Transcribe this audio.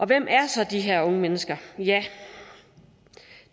hvem er så de her unge mennesker